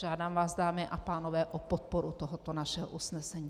Žádám vás, dámy a pánové, o podporu tohoto našeho usnesení.